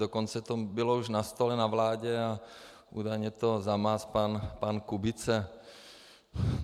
Dokonce to už bylo na stole na vládě a údajně to zamázl pan Kubice.